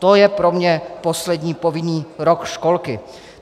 To je pro mě poslední povinný rok školky.